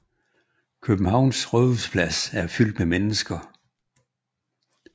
Københavns rådhusplads er fyldt med mennesker